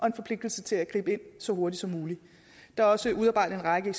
en forpligtelse til at gribe ind så hurtigt som muligt der er også udarbejdet en række